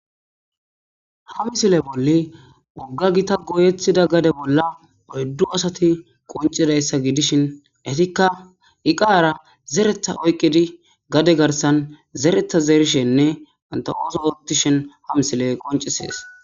Ha misile bolla woga gita goyetida gade bolla oydu asati qoncidaysa gidishin etika eqara zereta oykidi gade garsan zereta zerishene enta oso oothishin ha misiley qoncises